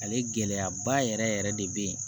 Ale gɛlɛyaba yɛrɛ yɛrɛ de bɛ yen